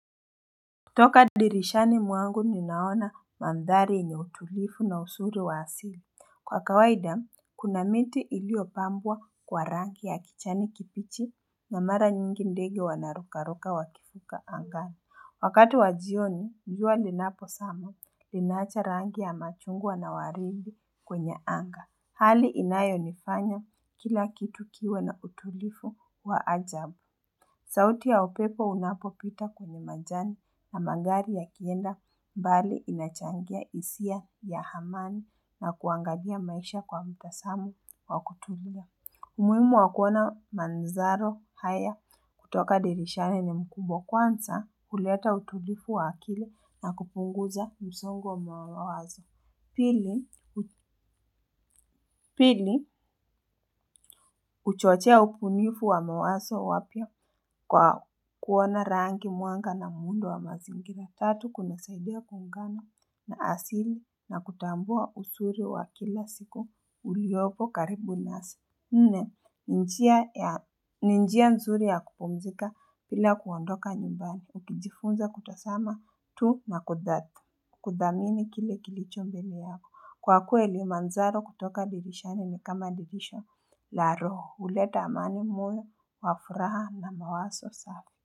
Toka dirishani mwangu ninaona mandhari yenye utulivu na uzuri wa asili. Kwa kawaida, kuna miti iliyopambwa kwa rangi ya kijani kibichi na mara nyingi ndege wanarukaruka wakifika angani. Wakati wa jioni, jua linaposama, linaacha rangi ya machungwa na waridi kwenye anga. Hali inayo nifanya kila kitu kiwe na utulivu wa ajabu. Sauti ya upepo unapopita kwenye majani na magari yakienda mbali inachangia hisia ya amani na kuangalia maisha kwa mtazamo wa kutulia. Umuhimu wa kuona mandharo haya kutoka dirishani ni mkubwa kwanza kuleta utulivu wa akili na kupunguza msongo wa mawazo. Pili, huchochoea ubunifu wa mawazo wapya kwa kuona mwanga rangi na muundo wa mazingira. Tatu, kunasaidia kuungana na asili na kutambua uzuri wa kila siku uliopo karibu nasi. Nne, ni njia nzuri ya kupumzika bila kuondoka nyumbani. Ukijifunza kutazama tu na kudhati. Kuthamini kile kilicho mbele wako. Kwa kweli mandharo kutoka dirishani ni kama dirisha la roho huleta amani moyo wa furaha na mawazo safi.